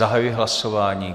Zahajuji hlasování.